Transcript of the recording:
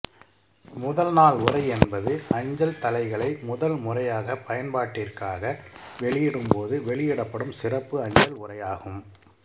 முதல் நாள் உறை என்பது அஞ்சல் தலைகளை முதல் முறையாகப் பயன்பாட்டிற்காக வெளியிடும் போது வெளியிடப்படும் சிறப்பு அஞ்சல் உறையாகும்